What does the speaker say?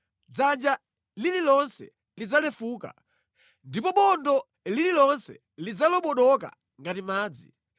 Dzanja lililonse lidzalefuka, ndipo bondo lililonse lidzalobodoka ngati madzi.